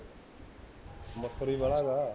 ਮੱਛਰ ਹੀ ਬਾਲਾ ਹੈ